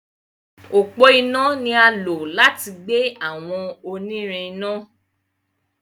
Ọpọ iná ní a lò láti gbé àwọn onírin iná.